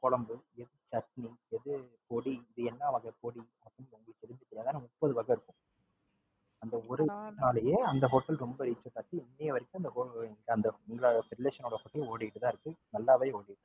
குழம்பு, சட்னி, பொடி, இது என்னா வகை பொடி? முப்பது வகை இருக்கும். அந்த ஒரு Hotel அந்த ஒரு ஏன் இன்றை வரைக்கும் ஓடிக்கிட்டு தான் இருக்கு. இது வரைக்கும் நல்லாவே ஓடிக்கிட்டு இருக்கு.